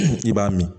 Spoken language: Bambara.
I b'a min